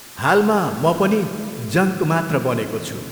हालमा, म पनि जङ्क मात्र बनेको छु!